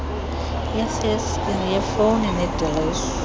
yefeksi yefoni nedilesi